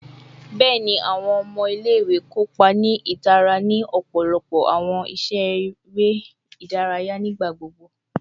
Bẹẹni, awọn ọmọ ile-iwe kopa ni itara ni ọpọlọpọ awọn iṣe ere idaraya nigbagbogbo